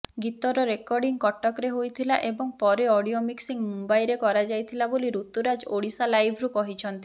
ଗୀତର ରେକର୍ଡିଂ କଟକରେ ହୋଇଥିଲା ଏବଂ ପରେ ଅଡିଓ ମିକ୍ସିଂ ମୁମ୍ବାଇରେ କରାଯାଇଥିଲା ବୋଲି ଋତୁରାଜ ଓଡ଼ିଶାଲାଇଭ୍କୁ କହିଛନ୍ତି